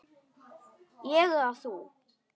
Ég eða þú?